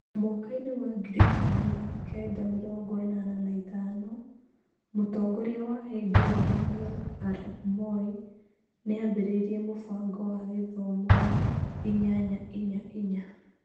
Mwakainĩ wa ngiri ikũmi na kenda mĩrongo ĩnana na ithano, Mũtongoria wa hĩndĩ ĩyo Daniel Arap Moi nĩ aambĩrĩirie mũbango wa gĩthomo wa inyanya-inya-inya.